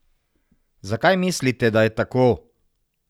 Zakaj mislite, da je tako?